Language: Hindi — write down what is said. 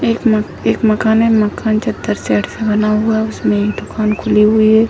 एक मक एक मकान है मकान चद्दर शेड से बना हुआ है उसमें एक दुकान खुली हुई है।